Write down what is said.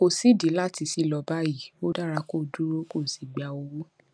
kò sídìí láti ṣí lọ báyìí ó dára kó o dúró kó o sì gba owó